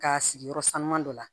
K'a sigi yɔrɔ sanuman dɔ la